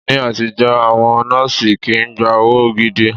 Ní àtijọ́, àwọn nọ́ọ̀sì kii gba owó gidi